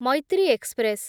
Maitri express